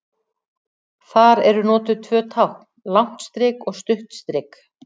Þar eru notuð tvö tákn, langt strik og stutt strik.